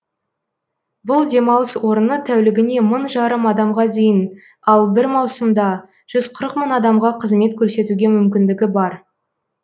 бұл демалыс орыны тәулігіне мың жарым адамға дейін ал бір маусымда жүз қырық мың адамға қызмет көрсетуге мүмкіндігі бар